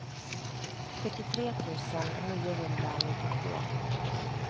sjuttiotre tusen niohundranittiotvå